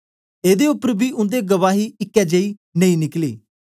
एदे उपर बी उन्दे गवाही इकै जेई नेई निकली